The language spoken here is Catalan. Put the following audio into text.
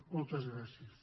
moltes gràcies